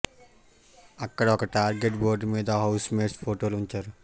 అక్కడ ఒక target board మీద హౌస్ మేట్స్ ఫోటోలు ఉంచారు